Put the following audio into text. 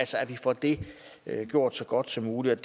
så vi får det gjort så godt som muligt